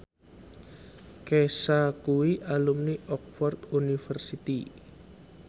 Kesha kuwi alumni Oxford university